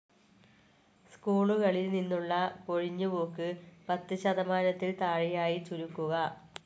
സ്കൂളികളിൽ നിന്നുള്ള കൊഴിഞ്ഞ് പോക്ക് പത്ത് ശതമാനത്തിൽ താഴെയായി ചുരുക്കുക.